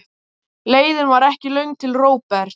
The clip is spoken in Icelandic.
Leiðin var ekki löng til Róberts.